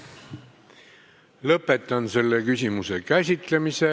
Lõpetan selle küsimuse käsitlemise.